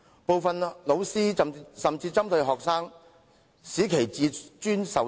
部分老師甚至針對學生，使其自尊受損。